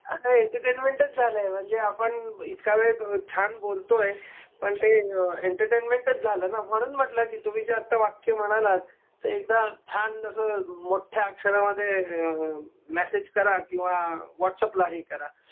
अहो एंटरटेनमेंटच झालय म्हणजे आपण इतका वेळ झाला आपण छान बोलतोय पण ते एंटरटेनमेंटच झालं ना म्हणून म्हणल तुम्ही जे आत्ता वाक्य म्हणालात ते एकदा छान अस मोठ्या अक्षरामध्ये अ मेसेज करा किंवा व्हाटस अॅप ला हे करा.